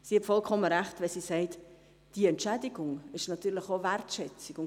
Sie hat vollkommen recht, wenn sie sagt, dass diese Entschädigung auch eine Wertschätzung ist.